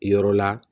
Yɔrɔ la